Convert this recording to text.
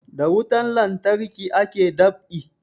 Da wutan lantarki ake dab'i